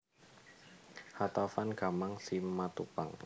H Taufan Gama Simatupang